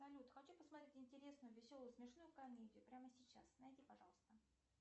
салют хочу посмотреть интересную веселую смешную комедию прямо сейчас найди пожалуйста